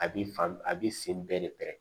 A b'i fan a b'i sen bɛɛ de pɛrɛn